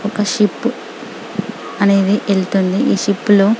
ఒక షిప్ అనేది వెళ్తుంది ఈ షిప్ లో --.